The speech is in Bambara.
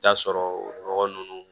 Taa sɔrɔ nɔgɔ ninnu